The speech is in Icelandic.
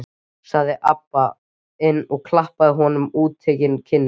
sagði Abba hin og klappaði honum á útitekna kinnina.